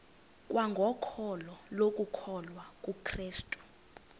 kwangokholo lokukholwa kukrestu